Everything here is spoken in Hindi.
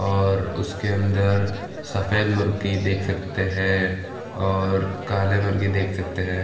और उसके अंदर सफ़ेद मुर्गी देख सकते है और काले मुर्गी देख सकते है।